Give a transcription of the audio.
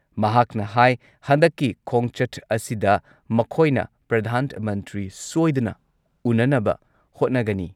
ꯃꯍꯥꯛꯅ ꯍꯥꯥꯏ ꯍꯟꯗꯛꯀꯤ ꯈꯣꯡꯆꯠ ꯑꯁꯤꯗ ꯃꯈꯣꯏꯅ ꯄ꯭ꯔꯙꯥꯟ ꯃꯟꯇ꯭ꯔꯤ ꯁꯣꯏꯗꯅ ꯎꯅꯅꯕ ꯍꯣꯠꯅꯒꯅꯤ